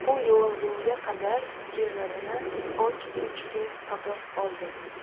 U yuvingunga qadar kiyimlarini och echki topib oldi.